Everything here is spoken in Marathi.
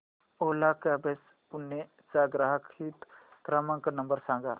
ओला कॅब्झ पुणे चा ग्राहक हित क्रमांक नंबर सांगा